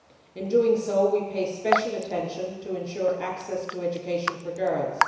In doing this, we pay special attention to ensure access to education for girls.